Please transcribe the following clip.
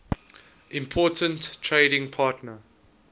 important trading partner